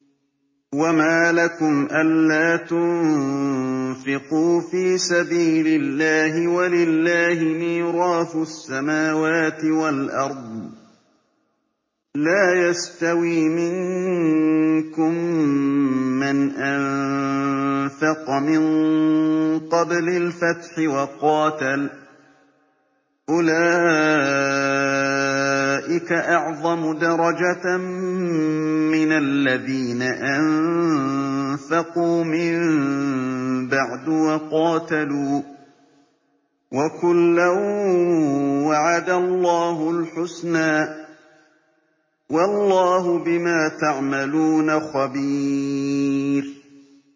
وَمَا لَكُمْ أَلَّا تُنفِقُوا فِي سَبِيلِ اللَّهِ وَلِلَّهِ مِيرَاثُ السَّمَاوَاتِ وَالْأَرْضِ ۚ لَا يَسْتَوِي مِنكُم مَّنْ أَنفَقَ مِن قَبْلِ الْفَتْحِ وَقَاتَلَ ۚ أُولَٰئِكَ أَعْظَمُ دَرَجَةً مِّنَ الَّذِينَ أَنفَقُوا مِن بَعْدُ وَقَاتَلُوا ۚ وَكُلًّا وَعَدَ اللَّهُ الْحُسْنَىٰ ۚ وَاللَّهُ بِمَا تَعْمَلُونَ خَبِيرٌ